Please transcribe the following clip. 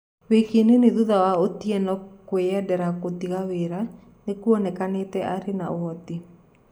wiki nini thutha wa Otieno kũyendera gũtiga wĩra, nĩ kuonekanĩte arĩ na ũhoti.